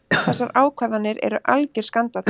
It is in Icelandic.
Þessar ákvarðanir eru algjör skandall.